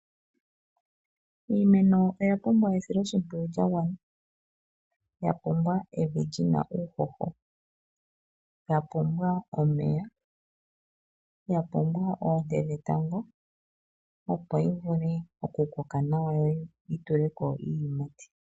Iimeno oya pumbwa esiloshimpwiyu lyagwana. Oya pumbwa evi lina uuhoho, omeya, oonte dhetango opo yi vule okukoka nawa yi tule ko iiyimati.